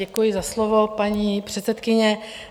Děkuji za slovo, paní předsedkyně.